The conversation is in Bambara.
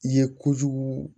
I ye kojugu